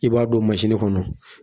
I b'a don kɔnɔ